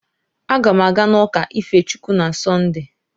Aga m aga n'ụka ife Chukwu na Sọnde